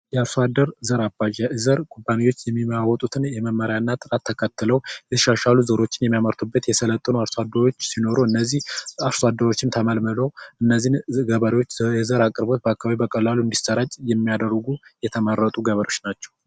የአርሶ አደር ዘር አባጃ የዘር ኩባንያወች የሚለዋወጡትን የመመሪያነት ጥራት ተከትሎ ሊሸሻሉ የሚችሉ ነገሮችንን የሚያመርቱበት የሰለጠኑ አርሶ አደሮች ሲኖሩ እነዚ አርሶ አደሮችም ተመልምለዉ እነዚህን ገበሬወች የዘር አቅርቦት በአካባቢዉ በቀላሉ እንዲሰራጭ የሚያደርጉ የተመረጡ ገበሬወች ናቸዉ።